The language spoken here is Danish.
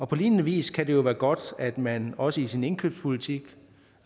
på lignende vis kan det jo være godt at man også i sin indkøbspolitik